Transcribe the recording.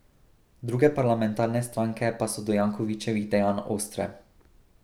Druge parlamentarne stranke pa so do Jankovićevih dejanj ostre.